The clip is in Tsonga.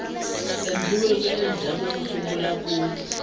endliweke endzhaku ko sungula ku